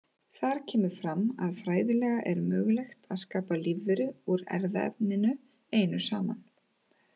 Þar kemur fram að fræðilega er mögulegt að skapa lífveru úr erfðaefninu einu saman.